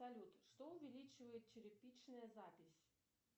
салют что увеличивает черепичная запись